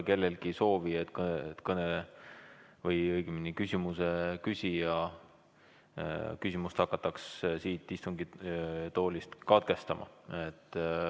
Keegi ei soovi, et küsija küsimust hakatakse siit istungitoolist katkestama.